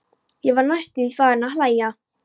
Ég var næstum því farin að hlæja.